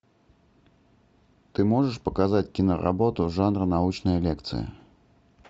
ты можешь показать киноработу жанра научная лекция